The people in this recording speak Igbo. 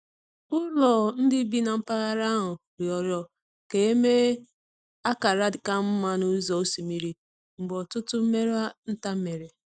Ụlọ ndị bi na mpaghara ahụ rịọrọ ka e mee akara ka mma n’ụzọ osimiri mgbe ọtụtụ mmerụ nta mere.